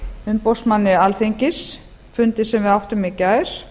umboðsmanni alþingis fundi sem við áttum í gær